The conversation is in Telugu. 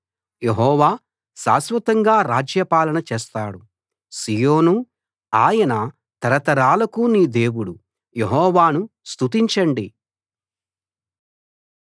యెహోవా శాశ్వతంగా రాజ్యపాలన చేస్తాడు సీయోనూ ఆయన తరతరాలకు నీ దేవుడు యెహోవాను స్తుతించండి